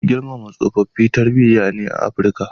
Girmama tsofaffi tarbiyya ne a Afrika.